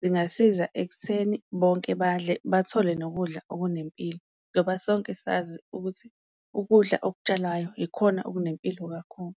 zingasiza ekutheni bonke badle bathole nokudla okunempilo. Ngoba sonke sazi ukuthi ukudla okutshalwayo ikhona okunempilo kakhulu.